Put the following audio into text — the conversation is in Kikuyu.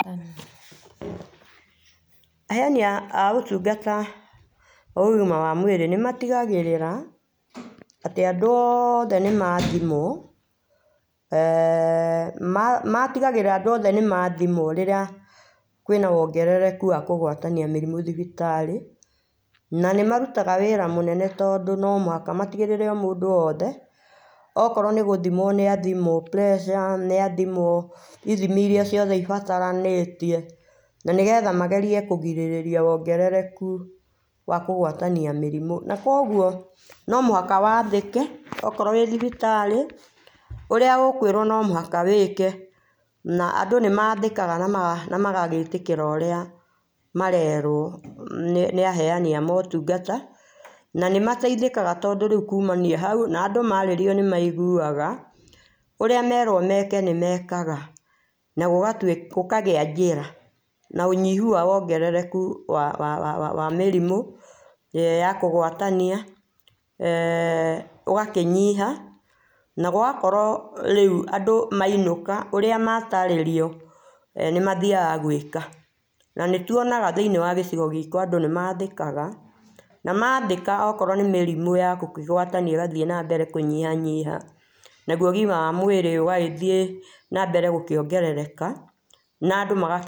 Aheani a ũtũngata a ũgima wa mwĩrĩ nĩmatĩgagĩrĩra atĩ andũ othe nĩmathimwo eeh ma matĩgagĩrĩra andũ othe nĩmathimwa rĩrĩa kwĩna wongerekũ wa kũgwatania mĩrimũ thibitarĩ inĩ na nĩmarũtaga wĩra mũnene tondũ no mũhaka matĩgĩrĩrie mũndũ o wothe okorwo nĩgũthimwa nĩ athimwo pressure nĩathĩmwa ithimi irĩa ciothe ibataranĩtie na nĩgetha magerie kũgĩrĩria wongererekũ wa kũgwatania mĩrimũ na kũogũo no mũhawa wathĩke okorwo wĩ thibitarĩ ũrĩa ũkwĩrwo no mũhaka wĩke na andũ nĩmandĩka na magetĩka ũrĩa marerwo nĩ aheanĩ a motũngata na nĩmateithĩkaga tondũ rĩũ kũmania haũ andũ marĩrio nĩmaigũaga ũrĩa meragwo meke nĩmekaga na gũkatwĩ gũkagĩa njĩra na ũnyihũ wa wongererekũ wa wa mĩrimũ ya kũgwatania eeh ũgakĩnyiha na gũgakorwo rĩũ andũ mainũka ũrĩa matarĩrio e nĩmathiaga gwĩka na nĩtũonaga thĩinĩ wa gĩcigo gitũ andũ nĩmathĩkaga na mathĩka okorwo nĩ mĩrĩmũ ya gũkĩgũatania ĩgathiĩ na mbere na gũkĩnyihanyiha nagũo ũgima wa mwĩrĩ ũgagĩthiĩ na mbere na kũongerereka na andũ maga.